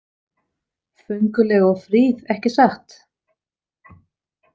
Fönguleg og fríð ekki satt?